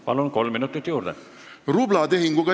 Palun, kolm minutit juurde!